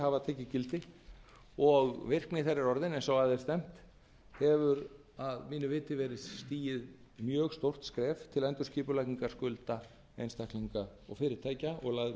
hafa tekið gildi og virkni þeirra er orðin eins og að er stefnt hefur að mínu viti verið stigið mjög stórt skref til endurskipulagningar skulda einstaklinga og fyrirtækja og